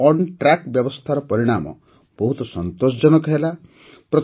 ଟ୍ରକଣ୍ଟ୍ରାକ୍ ବ୍ୟବସ୍ଥାର ପରିଣାମ ବହୁତ ସନ୍ତୋଷଜନକ ହେଲା